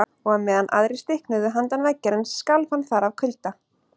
Og á meðan aðrir stiknuðu handan veggjarins skalf hann þar af kulda.